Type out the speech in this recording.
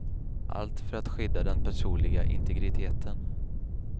Allt för att skydda den personliga integriteten.